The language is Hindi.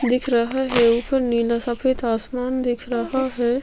दिख रहा है ऊपर नीला सफ़ेद आसमान दिख रहा है।